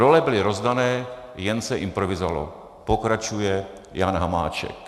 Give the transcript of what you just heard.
Role byly rozdané, jen se improvizovalo," pokračuje Jan Hamáček.